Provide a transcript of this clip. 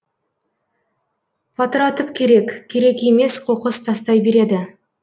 патыратып керек керек емес қоқыс тастай береді